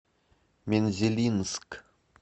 мензелинск